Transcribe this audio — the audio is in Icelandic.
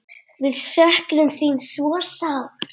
Við söknum þín svo sárt.